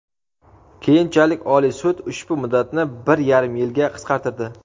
Keyinchalik Oliy sud ushbu muddatni bir yarim yilga qisqartirdi.